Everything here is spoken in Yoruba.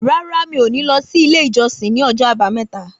Rárá mi ò ní lọ sí ilé ìjọsìn ní ọjọ́ àbámẹ́ta